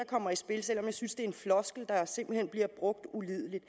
kommer i spil selv om jeg synes en floskel der simpelt hen bliver brugt ulidelig